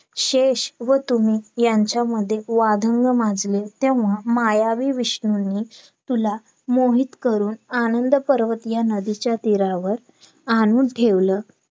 काय Lone च काय झालं त्या दिवशी त्यांचा form reject केलेलं नाही बँकेने आम्ही भरायला बसलो रात्री.